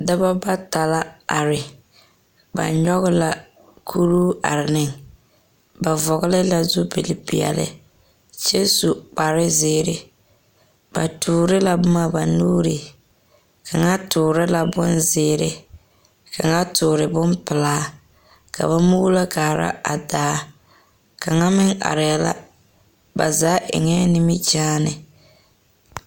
Dɔba bata la are, ba nyɔge la kuruu are neŋ, ba vɔgele la zupilpeɛle, kyɛ su kparezeere, ba toore la boma ba nuuri. Kaŋa toore la bonzeere, kaŋa toore bompelaa, ka ba muulo kaara a daa. Kaŋa meŋ arɛɛ la. Ba zaa eŋɛɛ nimikyaane.